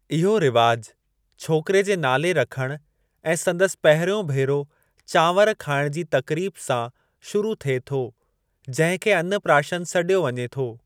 इहो रिवाजु छोकरे जे नाले रखणु ऐं संदसि पहिरियों भेरो चांवर खाइणु जी तक़रीब सां शुरू थिए थो जंहिं खे अनप्राशन सॾियो वञे थो।